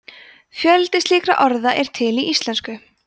fjöldi slíkra orða er til í íslensku